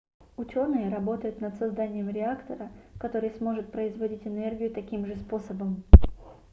учёные работают над созданием реактора который сможет производить энергию таким же способом